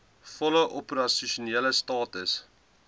volle opersasionele status